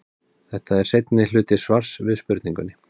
Þetta er seinni hluti svars við spurningunni.